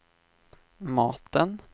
maten